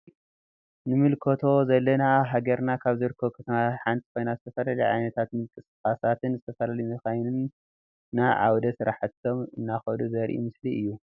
እዚ ንምልከቶ ዘለና አብ ሃገርና ካብ ዝርከቡ ከተማታት ሓንቲ ኮይና ዝተፈላለዩ ዓይነታት ምንቅስቃሳትን ዝተፈላለዩ መካይንን ናብ ዓወደ ስራሕቶም እናከዱ ዘሪኢ ምስሊ እዩ።